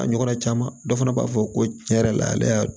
A ɲɔgɔnna caman dɔ fana b'a fɔ ko tiɲɛ yɛrɛ la ale y'a